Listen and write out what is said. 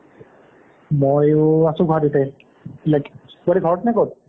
ময়ো আছোঁ গুৱাহাটীতে like তই ঘৰতনে ক'ত